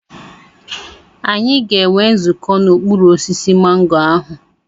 Anyị ga-enwe nzukọ n'okpuru osisi mango ahụ.